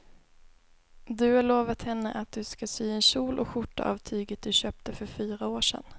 Du har lovat henne att du ska sy en kjol och skjorta av tyget du köpte för fyra år sedan.